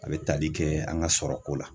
A bɛ tali kɛ an ka sɔrɔko la.